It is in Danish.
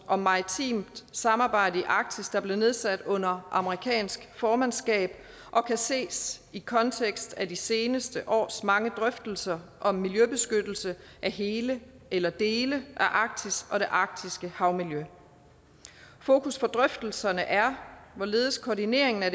om maritimt samarbejde i arktis der blev nedsat under amerikansk formandskab og kan ses i kontekst af de seneste års mange drøftelser om miljøbeskyttelse af hele eller dele af arktis og det arktiske havmiljø fokus for drøftelserne er hvorledes koordineringen af